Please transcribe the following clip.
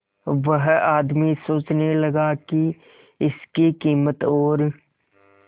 वह आदमी सोचने लगा की इसके कीमत और